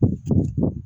A bɛ cɛmɔgɔ